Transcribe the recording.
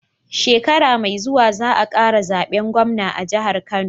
Shekara me zuwa za a kara zaben gwamna a jihar kano